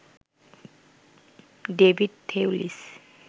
David Thewlis